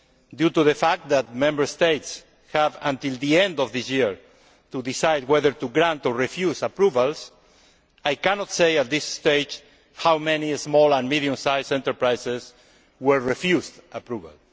Due to the fact that Member States have until the end of this year to decide whether to grant or refuse approvals, I cannot say at this stage how many small and medium sized enterprises were refused approval.